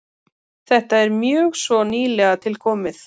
Þetta er mjög svo nýlega tilkomið.